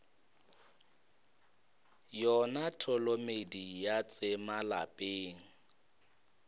yona tholomedi ya tsema lapeng